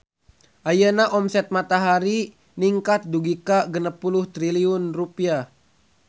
Ayeuna omset Matahari ningkat dugi ka 60 triliun rupiah